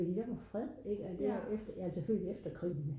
fordi der var fred altså selvfølgelig efter krigen